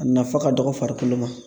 A nafa ka dɔgɔ farikolo ma